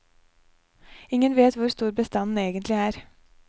Ingen vet hvor stor bestanden egentlig er.